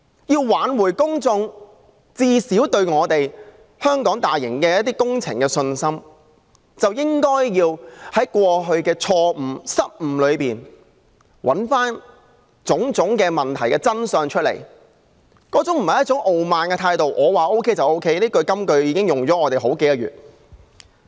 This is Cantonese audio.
要挽回公眾對香港大型工程的信心，便應該從過去的錯誤，找出種種問題的真相，而不是採取一種傲慢的態度，表示"我說 OK 就 OK"； 這金句已浪費了我們數個月的時間。